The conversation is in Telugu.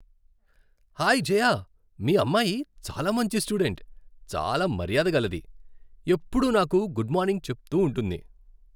హాయ్ జయ, మీ అమ్మాయి చాలా మంచి స్టూడెంట్, చాలా మర్యాద గలది. ఎప్పుడూ నాకు గుడ్ మార్నింగ్ చెప్తూ ఉంటుంది.